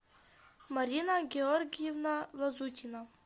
марина георгиевна лазутина